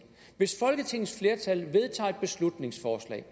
hvis folketingets flertal vedtager et beslutningsforslag